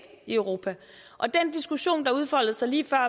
i europa og den diskussion der udfoldede sig lige før